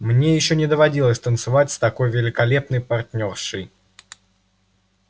мне ещё не доводилось танцевать с такой великолепной партнёршей